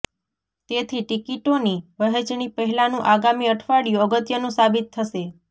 તેથી ટિકિટોની વહેંચણી પહેલાંનું આગામી અઠવાડિયું અગત્યનું સાબિત થશે